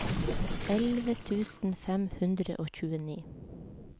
elleve tusen fem hundre og tjueni